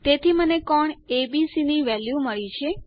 તેથી મને કોણ એબીસી ની વેલ્યુ મળી છે